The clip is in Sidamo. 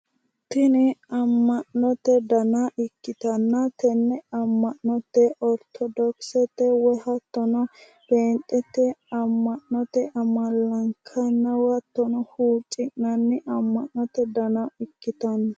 Tini amma'note dana ikkittanna tenne amma'note ortodokisete woyi hattono pheenxete amma'note amalankanniiwa hattono huucci'nanni amanote dana ikkitanno.